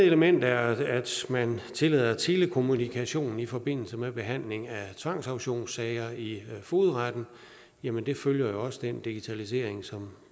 element er at at man tillader telekommunikation i forbindelse med behandling af tvangsauktionssager i fogedretten jamen det følger jo også den digitalisering som